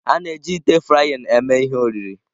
A na-eji ite frying eme ihe oriri.